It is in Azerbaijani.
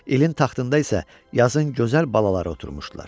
İlin taxtında isə yazın gözəl balaları oturmuşdular.